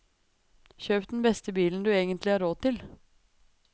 Kjøp den beste bilen du egentlig har råd til.